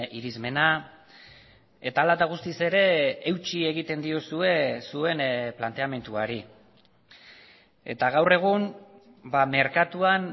irizmena eta ala eta guztiz ere eutsi egiten diozue zuen planteamenduari eta gaur egun merkatuan